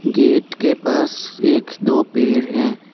Gate के पास एक दो पेड़ हैं।